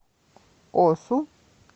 осу